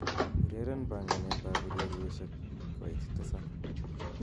ureren panganet ab ureryosiek koitt tisab